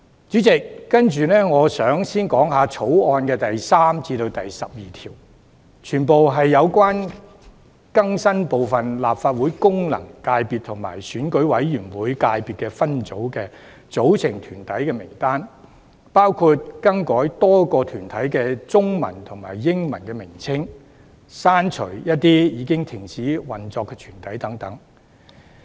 主席，接着我想談談《條例草案》第3至12條，全部是關於更新部分立法會功能界別及選委會界別分組的組成團體名單，包括更改多個團體的中文及英文名稱，以及刪除一些已停止運作的團體等。